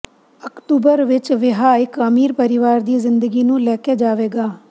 October ਵਿਚ ਵਿਆਹ ਇੱਕ ਅਮੀਰ ਪਰਿਵਾਰ ਦੀ ਜ਼ਿੰਦਗੀ ਨੂੰ ਲੈ ਕੇ ਜਾਵੇਗਾ